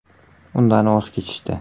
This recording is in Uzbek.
Undan voz kechishdi.